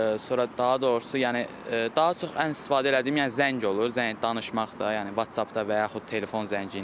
Sonra daha doğrusu, yəni daha çox ən istifadə elədiyim, yəni zəng olur, zəng, danışmaq da, yəni WhatsAppda və yaxud telefon zəngi ilə.